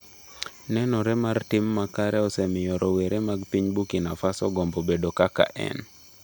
Nenore mar tim makare osemiyo rowere mag piny Burkina Faso gombo bedo kaka en.